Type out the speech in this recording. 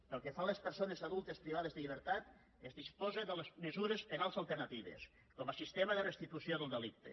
pel que fa a les persones adultes privades de llibertat es disposa de les mesures penals alternatives com a sistema de restitució del delicte